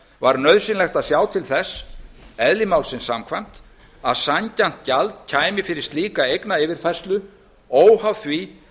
var nauðsynlegt að sjá til þess eðli málsins samkvæmt að sanngjarnt gjald kæmi fyrir slíka eignayfirfærslu óháð því